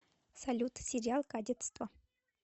салют сериал кадетство